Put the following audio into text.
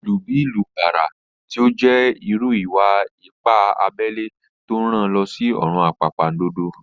Ìlù bí ìlù bàrà tí ó jẹ́ irú ìwà-ipá abẹ́lẹ́ ló rán an lọ sí ọ̀run àpàndodo